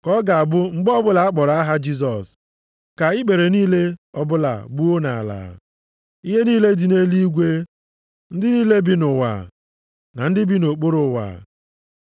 Ka ọ ga-abụ mgbe ọbụla a kpọrọ aha Jisọs ka ikpere niile ọbụla gbuo nʼala, ihe niile dị nʼeluigwe, ndị niile bi nʼụwa, na ndị bi nʼokpuru ụwa.